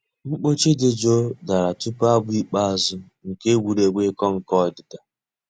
Mkpọ̀chì dì jụụ̀ dàrā túpù àbụ̀ ikpeazụ̀ nke ègwè́régwụ̀ ị̀kọ̀ nkọ̀ òdídà.